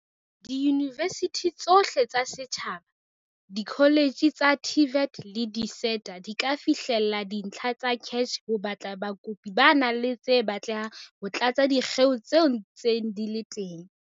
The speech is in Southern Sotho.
Diyunivesithi tsohle tsa setjhaba, dikoletjhe tsa TVET le di-SETA di ka fihlella dintlha tsa CACH ho batla bakopi ba nang le tse batlehang ho tlatsa dikgeo tse ntseng di le teng.